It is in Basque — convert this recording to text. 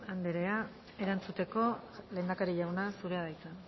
anderea erantzuteko lehendakari jauna zurea da hitza